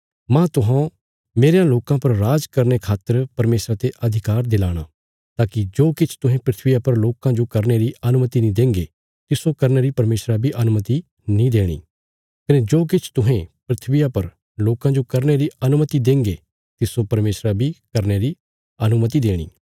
मांह तुहौं मेरयां लोकां पर राज करने खातर परमेशरा ते अधिकार दिलाणा ताकि जो किछ तुहें धरतिया पर लोकां जो करने री अनुमति नीं देंगे तिस्सो करने री परमेशरा बी अनुमति नीं देणी कने जो किछ तुहें धरतिया पर लोकां जो करने री अनुमति देंगे तिस्सो परमेशरा बी करने री अनुमति देणी